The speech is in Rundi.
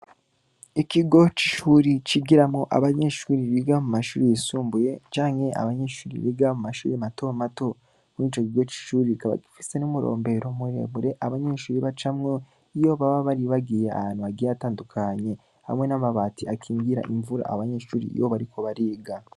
Ikigo c'ishure cigiramwo abanyeshure biga mu mashure yisumbuye canke abanyeshure biga mu mashure matomato. Muri ico kigo c'ishure kikaba gifise n'umurombero muremure abanyeshure bacamwo, iyo baba bari bagiye ahantu hagiye hatandukanye. Hamwe n'amabati akingira imvura abanyeshure iyo bariko bariga.